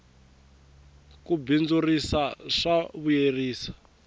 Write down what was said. ku bindzurisa swa vuyerisa